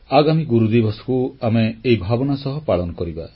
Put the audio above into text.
ଆଗାମୀ ଗୁରୁଦିବସକୁ ଆମେ ଏହି ଭାବନା ସହ ପାଳନ କରିବା